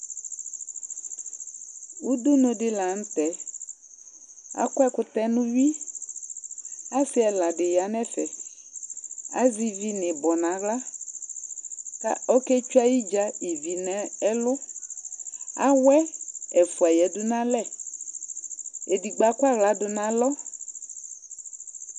udu nu di la nu tɛ, akɔ ɛkutɛ yɛ nu uwui, asi ɛla di ya nu ɛfɛ, azɛ ivi nu ibɔ nu aɣla, ka oketsʋe ayidza ivi nu ɛlu, awʋɛ ɛfʋa ya du nu alɛ , edigbo akɔ aɣla du nu alɔ